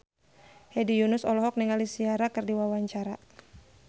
Hedi Yunus olohok ningali Ciara keur diwawancara